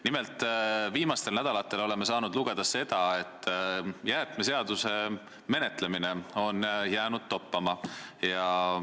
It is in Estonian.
Nimelt oleme viimastel nädalatel saanud lugeda, et jäätmeseaduse menetlemine on jäänud toppama.